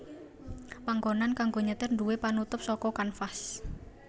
Panggonan kanggo nyetir nduwé penutup saka kanvas